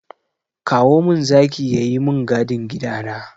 Kowa min zaki ya yi min gadin gida na!